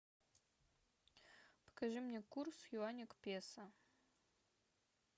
покажи мне курс юаня к песо